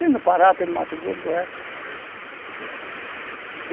Tem no Pará, tem no Mato Grosso, Goiás.